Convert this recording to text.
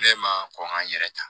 Ne ma kɔn ka n yɛrɛ ta